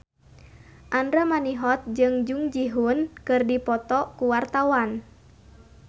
Andra Manihot jeung Jung Ji Hoon keur dipoto ku wartawan